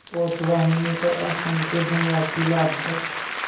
पोतवाहिनी पर असंख्य धनराशि लादकर